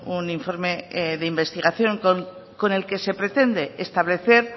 un informe de investigación con el que se pretende establecer